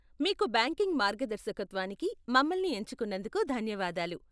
మీకు బ్యాంకింగ్ మార్గదర్శకత్వానికి మమ్మల్ని ఎంచుకున్నందుకు ధన్యవాదాలు.